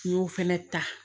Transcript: N y'o fɛnɛ ta